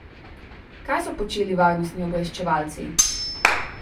Kaj so počeli varnostni obveščevalci?